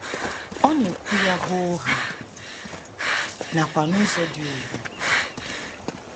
Ọ na - ekwu ya hoo haa, nakwa n’ụzọ dị ùgwù.